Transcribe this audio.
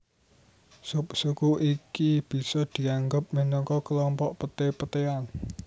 Subsuku iki bisa dianggep minangka klompok peté petéan